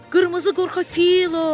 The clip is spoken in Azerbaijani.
Qırmızı qorxa filo.